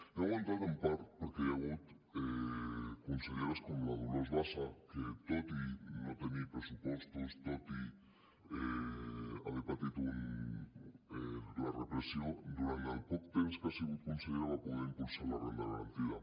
han aguantat en part perquè hi ha hagut conselleres com la dolors bassa que tot i no tenir pressupostos tot i haver patit la repressió durant el poc temps que ha sigut consellera va poder impulsar la renda garantida